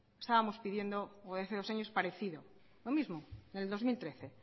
estábamos pidiendo o hace dos años parecido lo mismo en el dos mil trece